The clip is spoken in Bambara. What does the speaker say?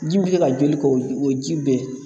Ji bɛ ka joli ko o ji bɛ.